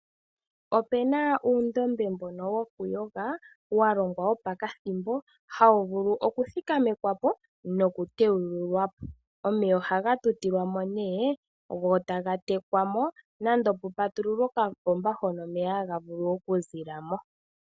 Opuna uundombe mbono wokuyoga, walongwa wopakathimbo, hawu vulu okuthikamekwapo nokuteyululwapo. Omeya ohaga tutilwamo ne, go taga tekwamo, nenge kupatululwe okapomba hono omeya haga vulu okuzilamo.